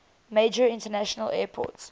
major international airport